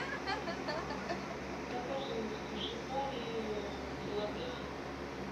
закажи в суши баре филадельфию